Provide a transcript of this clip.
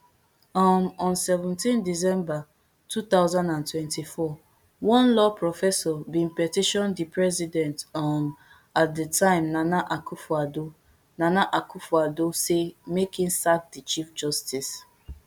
um on seventeen december two thousand and twenty-four one law professor bin petition di president um at di time nana akufoaddo nana akufoaddo say make im sack di chief justice